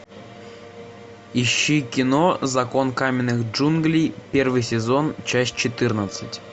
ищи кино закон каменных джунглей первый сезон часть четырнадцать